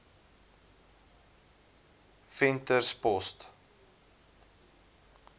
venterspost